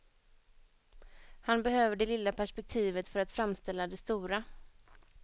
Han behöver det lilla perspektivet för att framställa det stora.